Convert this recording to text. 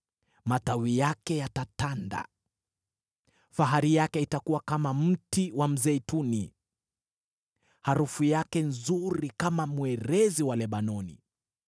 matawi yake yatatanda. Fahari yake itakuwa kama mti wa mzeituni, harufu yake nzuri kama mwerezi wa Lebanoni.